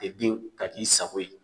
Pepɛnw ka n'i sago ye.